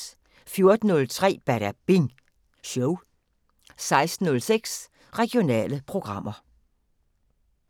14:03: Badabing Show 16:06: Regionale programmer